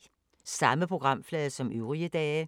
Samme programflade som øvrige dage